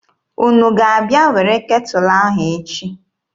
Unu ga-abịa were ketụlụ ahụ echi?